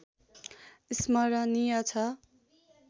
स्मरणीय छ